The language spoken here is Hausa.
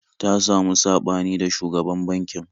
Ta samu saɓani da shugaban bankin